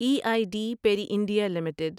E I D Parry India limited